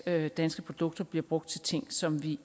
at danske produkter bliver brugt til ting som vi